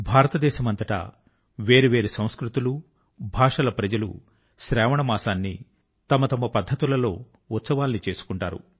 భారతదేశమంతటా వేర్వేరు సంస్కృతులు మరియు భాషల ప్రజలు శ్రావణ మాసాన్ని తమ తమ పద్ధతుల లో సెలబ్రేట్ చేసుకుంటారు